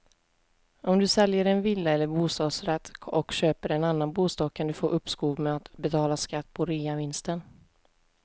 Om du säljer en villa eller bostadsrätt och köper en annan bostad kan du få uppskov med att betala skatt på reavinsten.